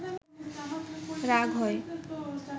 রাগ হয়